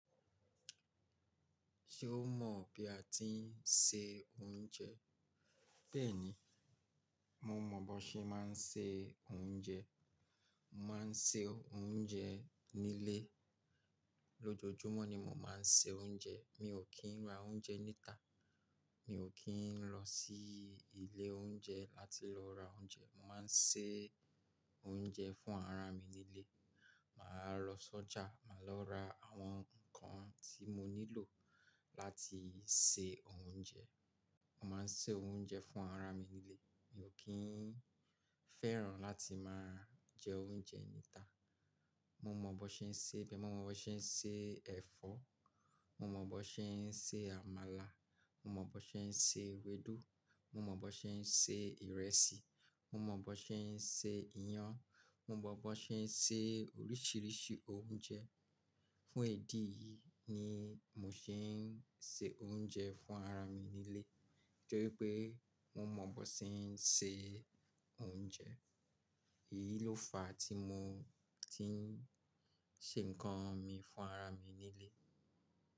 Ṣé o mọ̀ bí a ti ń se oúnjẹ? Bẹ́ẹ̀ni, mo mọ̀ bó ṣe máa ń se oúnjẹ. Mo máa ń se oúnjẹ nílé. Lójojúmọ́ ni mo máa ń se oúnjẹ. Mi ò kí ń ra oúnjẹ níta. Mi ò kí ń lọ sí ilé oúnjẹ láti lọ ra oúnjẹ. Mo máa ń se oúnjẹ fún ara mi nílé. Máa lọ sọ́jà, máa lọ ra àwọn nǹkan tí mo nílò láti se oúnjẹ. Mo máa ń se oúnjẹ fún ara mi nílé. Mi ò kí ń fẹ́ràn láti máa jẹ oúnjẹ níta. Mo mọ bó ṣe ń ṣe bẹ́ẹ̀, mo mọ bó ṣe ń ṣe ẹ̀fọ́, mo mọ bó ṣe ń ṣe àmàlà, mo mọ bó ṣe ń ṣe ewédú, mo mọ bó ṣe ń ṣe ìrẹsì, mo mọ bó ṣe ń ṣe iyan, mo mọ bó ṣe ń ṣe oríṣiríṣi oúnjẹ. Fún ìdí yìí ni mò ṣé ń se oúnjẹ fún ara mi nílé torí pé mo mọ bó ṣe ń se oúnjẹ. Èyí ló fa tí mo ti ń ṣe nǹkan mi fún ara mi nílé.